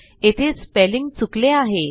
येथे स्पेलिंग चुकले आहे